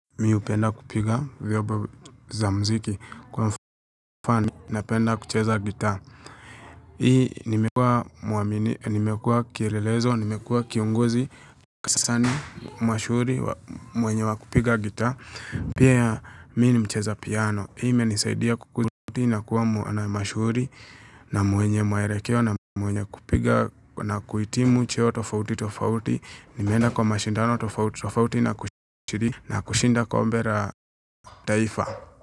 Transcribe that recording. Mimi hupenda kupiga vyombo za muziki kwa mfano napenda kucheza guitar. Hii nimekuwa muamini, nimekuwa kielelezo, nimekuwa kiongozi sana mashuhuri wa mwenye wa kupiga guitar. Pia mimi ni mcheza piano. Hii imenisaidia kurudi na kuwa mwana mashuhuri na mwenye mwelekeo na mwenye kupiga na kuhitimu cheo tofauti tofauti. Nimeenda kwa mashindano tofauti na kushiriki na kushinda kombe la taifa.